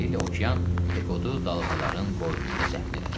Beləliklə okean Pekodu dalğaların qoynunda dəfn elədi.